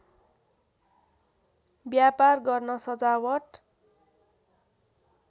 व्यापार गर्न सजावट